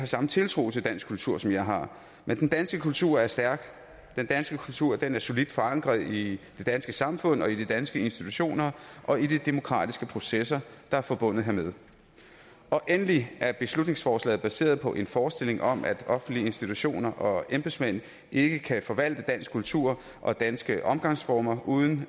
samme tiltro til dansk kultur som jeg har men den danske kultur er stærk og den danske kultur er solidt forankret i det danske samfund og i de danske institutioner og i de demokratiske processer der er forbundet hermed endelig er beslutningsforslaget baseret på en forestilling om at offentlige institutioner og embedsmænd ikke kan forvalte dansk kultur og danske omgangsformer uden